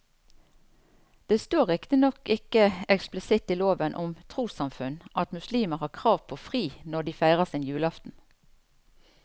Det står riktignok ikke eksplisitt i loven om trossamfunn at muslimer har krav på fri når de feirer sin julaften.